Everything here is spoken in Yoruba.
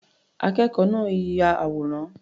Akẹ́kọ̀ọ́ náà ya àwòrán.